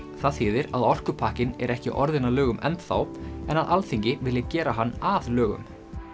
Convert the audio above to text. það þýðir að orkupakkinn er ekki orðinn að lögum enn þá en að Alþingi vilji gera hann að lögum